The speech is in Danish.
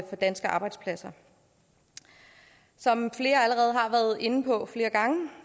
for danske arbejdspladser som flere allerede har været inde på flere gange